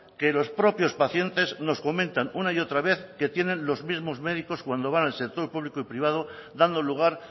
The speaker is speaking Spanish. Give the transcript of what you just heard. que los propios pacientes nos comentan una y otra vez que tienen los mismos médicos cuando van al sector público y privado dando lugar